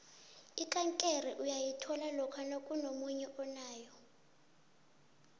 ikankere uyayithola lokha nakunomunye onayo